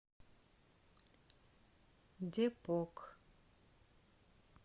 депок